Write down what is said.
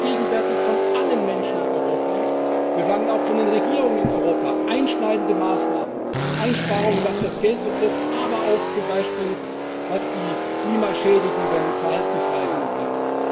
Wir verlangen gegenwärtig von allen Menschen in Europa, wir verlangen auch von den Regierungen in Europa einschneidende Maßnahmen Einsparungen, was das Geld betrifft, aber auch zum Beispiel was klimaschädigende Verhaltensweisen betrifft.